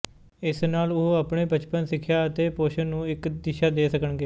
ਇਸ ਨਾਲ ਉਹ ਆਪਣੇ ਬਚਪਨ ਸਿੱਖਿਆ ਅਤੇ ਪੋਸ਼ਣ ਨੂੰ ਇੱਕ ਦਿਸ਼ਾ ਦੇ ਸਕਣਗੇ